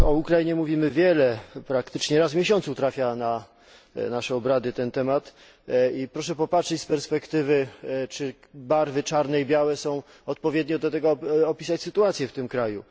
O Ukrainie mówimy wiele, praktycznie raz w miesiącu trafia pod nasze obrady ten temat, i proszę popatrzeć z perspektywy, czy barwy czarne i białe są odpowiednie do tego, aby opisać sytuację w tym kraju.